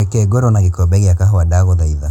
reke ngorwo na gĩkombe gĩa kahũa ndagũthaitha